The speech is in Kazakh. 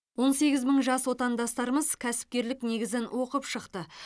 он сегіз мың жас отандастарымыз кәсіпкерлік негізін оқып шықты